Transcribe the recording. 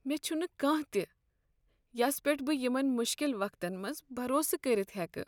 مےٚ چھنہٕ کانٛہہ تہ یس پیٹھ بہٕ یمن مشکل وقتن منٛز بروسہٕ کٔرتھ ہیكہٕ ۔